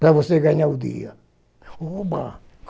Para você ganhar o dia. Oba!